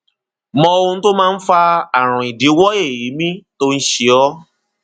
mọ ohun tó máa ń fa ààrùn idíwọ èémí tó ń ṣe ọ